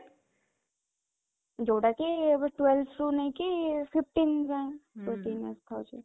ଯୋଉଟା କି ଏବେ twelve ରୁ ନେଇକି fifteen ଯାଏଁ ହୁଁ କୁହନ୍ତି